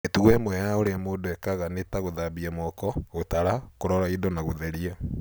Mĩtugo ĩmwe ya ũrĩa mũndũ ekaga nĩ ta gũthambia moko, gũtara, kũrora indo na gũtheria.